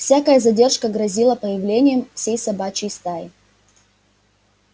всякая задержка грозила появлением всей собачьей стаи